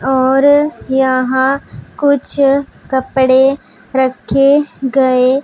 और यहां कुछ कपड़े रखे गए--